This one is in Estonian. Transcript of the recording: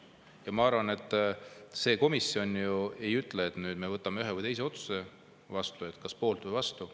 Ja ma arvan, et see komisjon ju ei ütle, et nüüd me võtame ühe või teise otsuse vastu, kas poolt või vastu.